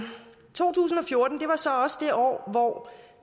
to tusind og fjorten var så også det år hvor